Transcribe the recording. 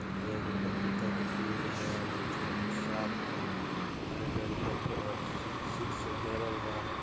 यहाँ देखो पपीता के पेड़ बा नीचे कुछ साफ बा हेने करी कोरके रस्सी से घेरल बा।